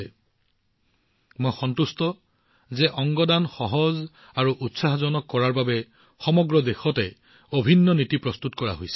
এইটো মোৰ বাবে অত্যন্ত সন্তুষ্টিৰ বিষয় যে অংগ দান সহজ কৰি তুলিবলৈ আৰু ইয়াক উৎসাহিত কৰিবলৈ সমগ্ৰ দেশতে এক অভিন্ন নীতিৰ ওপৰত কাম কৰা হৈছে